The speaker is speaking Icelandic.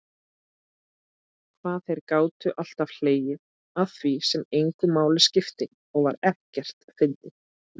Hvað þeir gátu alltaf hlegið að því sem engu máli skipti og var ekkert fyndið.